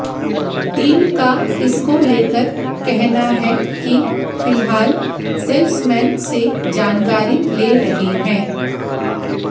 team का इसको लेकर कहना है कि फिलहाल सेल्समैन से जानकारी ले रहे है